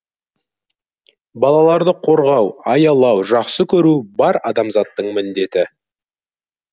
балаларды қорғау аялау жақсы көру бар адамзаттың міндеті